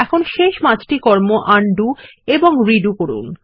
এখন শেষ পাঁচটি কর্ম আনডু এবং রিডু করুন